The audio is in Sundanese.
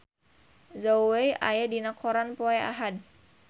Zhao Wei aya dina koran poe Ahad